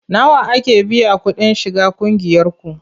Nawa ake biya kuɗin shiga ƙungiyarku?